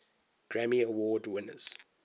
grammy award winners